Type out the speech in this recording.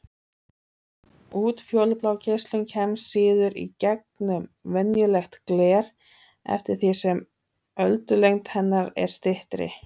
Útfjólublá geislun kemst síður í gegnum venjulegt gler eftir því sem öldulengd hennar er styttri.